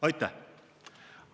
Aitäh!